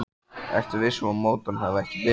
Ertu viss um að mótorinn hafi ekki bilað?